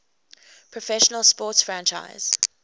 professional sports franchise